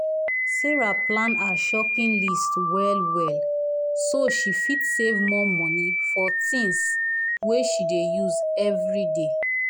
sarah plan her shopping list well-well so she fit save more money for things wey she dey use every day.